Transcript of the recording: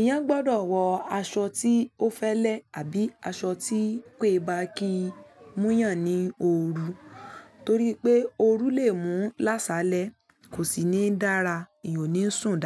Iyàn gbọdọ̀ wọ aṣọ tí ó fẹlẹ àbí aṣọ tí pé bá ki múyàn ní òru, torí pé òru lè mú lásalẹ̀ kò sì ní dára, ìyan o ní sùn dáadáa.